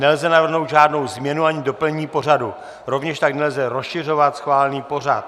Nelze navrhnout žádnou změnu ani doplnění pořadu, rovněž tak nelze rozšiřovat schválený pořad.